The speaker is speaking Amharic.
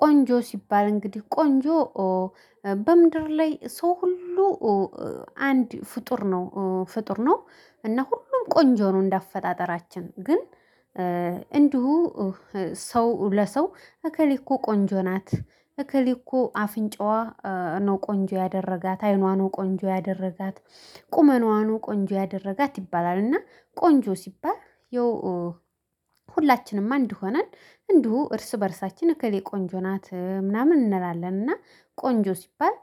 ቆንጆ ሲባል እንግዲህ ቆንጆ በምድር ላይ ሰው ሁሉ አንድ ፍጡር ነው ፍጡር ነው። እና ሁሉም ቆንጆ ነው እንደ አፈጣጠራችን ግን። እንዲሁ ሰው ለሰው እከሌ እኮ ቆንጆ ናት። እከሌ እኮ አፍንጫዋ ነው ቆንጆ ያደረጋት አይኗ ነው ቆንጆ ያደረጋት ቁመናዋ ነው ቆንጆ ያደረጋት ይባላል። እና ቆንጆ ሲባል ያው። ሁላችንም አንድ ሆነን እንዲሁ እርስ በእርሳችን እከሌ ቆንጆ ናት ምናምን እንላለን እና። ቆንጆ ሲባል